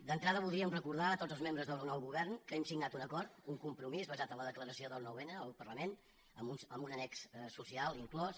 d’entrada voldríem recordar a tots els membres del nou govern que hem signat un acord un compromís basat en la declaració del nou n al parlament amb un annex social inclòs